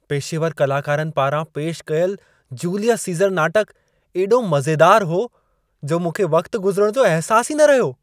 पेशेवर कलाकारनि पारां पेशि कयल जूलियस सीज़र नाटक एॾो मज़ेदार हो, जो मूंखे वक़्ति गुज़रणु जो अहिसासु ई न रहियो।